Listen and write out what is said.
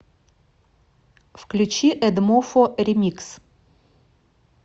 включи эдмофо ремикс